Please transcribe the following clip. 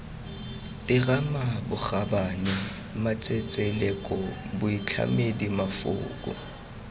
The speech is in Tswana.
terama bokgabane matsetseleko boitlhamedi mafoko